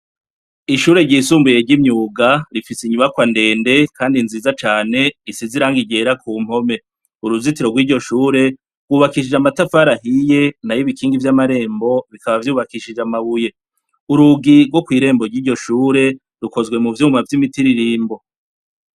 Ishure ryisumbuye ry'imyuga rifise inyubakwa ndende kandi nziza cane, isize irangi ryera ku mpome. Uruzitiro rw'iryo shure rwubakishije amatafari ahiye, nayo ibikingi vy'amarembo bikaba vyubakishije amabuye, Urugi rwo kw'irembo ry'iryo shure rukozwe mu vyuma vy'imitiririmbo.